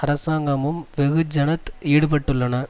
அரசாங்கமும் வெகுஜனத் ஈடுபட்டுள்ளன